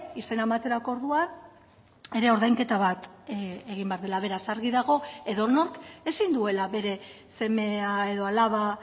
izena ematerako orduan ere ordainketa bat egin behar dela beraz argi dago edonork ezin duela bere semea edo alaba